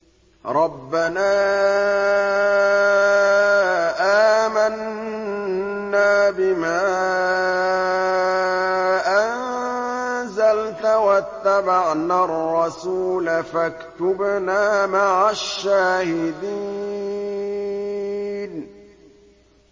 رَبَّنَا آمَنَّا بِمَا أَنزَلْتَ وَاتَّبَعْنَا الرَّسُولَ فَاكْتُبْنَا مَعَ الشَّاهِدِينَ